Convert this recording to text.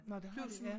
Nå det har de ja